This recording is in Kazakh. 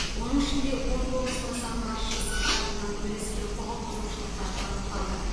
оның ішінде он тоғыз нысан басшысы тарапынан өрескел құқық бұзушылықтар анықталды